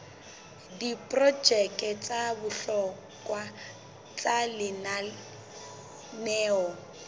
diprojeke tsa bohlokwa tsa lenaneo